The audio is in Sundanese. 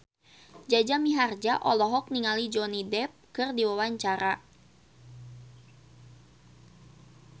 Jaja Mihardja olohok ningali Johnny Depp keur diwawancara